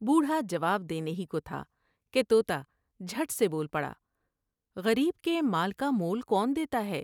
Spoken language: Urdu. بوڑھا جواب دینے ہی کو تھا کہ تو تا جھٹ سے بول پڑا" غریب کے مال کا مول کون دیتا ہے ۔